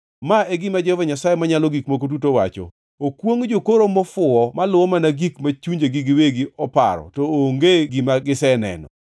Ma e gima Jehova Nyasaye Manyalo Gik Moko Duto wacho: Okwongʼ jokoro mofuwo maluwo mana gik ma chunjegi giwegi oparo to onge gima giseneno!